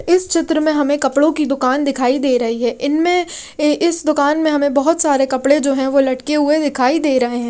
इस चित्र में हमें कपड़ों की दुकान दिखाई दे रही है इनमें इस दुकान में हमें बहुत सारे कपड़े जो हैं वो लटके हुए दिखाई दे रहे हैं।